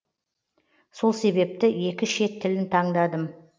сол себепті екі шет тілін таңдадым